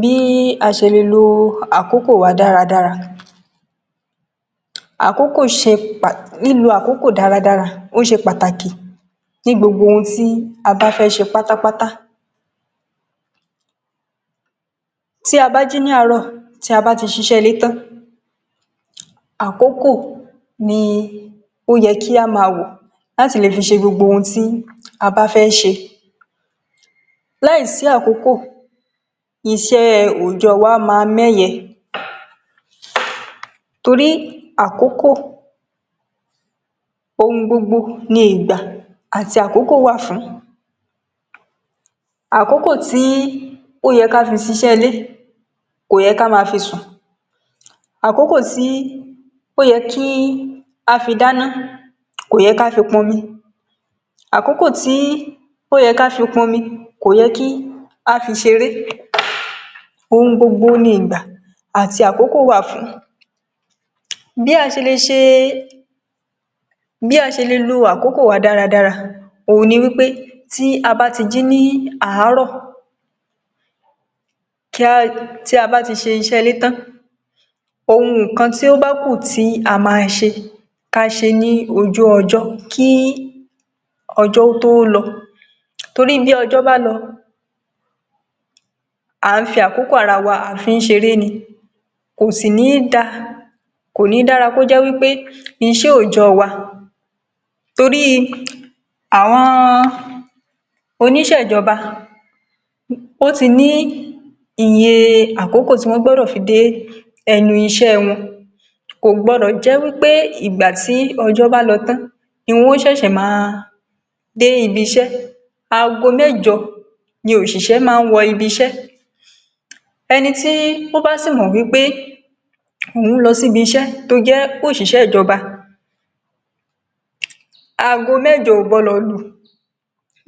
Bí a ṣe lè lo àkókò wa dáadáa Lílo àkókò dáadáa ó ṣe pàtàkì ní gbogbo ohun tí a bá fẹ́ ṣe pátápátá, tí a bá jí ní àárọ̀, tí a bá ti ṣe iṣẹ́ ilé tan, àkókò ni ó yẹ kí a máa wò láti lè fi ṣe gbogbo ohun tí a bá fẹ́ ṣe. Láìsí àkókò, iṣẹ́ onjẹ wa máa méyẹ torí àkókò ohun gbogbo ni, ìgbà àti àkókò wà fún àkókò tí ó yẹ ká fi ṣe iṣẹ́ ilé, kò yẹ kí a máa fi sùn, àkókò tí ó yẹ kí a fi dána, kò yẹ kí a fi pọ̀n omi, àkókò tí ó yẹ ká fi pọ̀n omi, kò yẹ kí a fi ṣeré, ohun gbogbo ní ìgbà àti àkókò wà fún. Bí a ṣe lè lo àkókò wa dáadáa ohun ni wípé tí a bá jí ní àárọ̀, tí a bá ti ṣe iṣẹ́ ilé tan, ohun kan tí ó bá kù tí a máa ṣe, kí a ṣe ní ojú ọjọ́ kí ọjọ́ tó lọ, torí bí ọjọ́ bá lọ, a fi àkókò ara wa ṣeré ni, kò sì ní dára, kò yẹ kí iṣẹ́ onjẹ wa. Torí àwọn oṣiṣẹ́ ìjọba ò tí ì ní iye àkókò tí wọ́n gbọ́dọ̀ fi dé ẹnu ibi-ìṣẹ́ wọn, kò gbọ́dọ̀ jẹ́ wípé ìgbà tí ọjọ́ bá lọ tan, ni wọ́n ó ṣe máa dé ibi-ìṣẹ́. Àgọ́ méjọ ni oṣiṣẹ́ máa ń wò ibi-ìṣẹ́, ẹni tí ó bá sì mọ̀ wípé òun lọ sí ibi-ìṣẹ́ tó jẹ́ oṣiṣẹ́ ìjọba, àgọ́